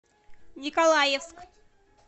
николаевск